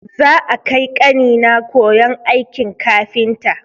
Za'a kai ƙanina koyon aikin kafinta.